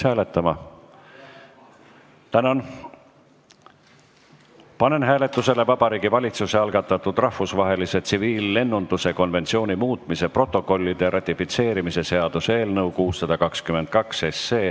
Panen hääletusele Vabariigi Valitsuse algatatud rahvusvahelise tsiviillennunduse konventsiooni muutmise protokollide ratifitseerimise seaduse eelnõu 622.